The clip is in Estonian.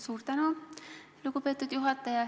Suur tänu, lugupeetud juhataja!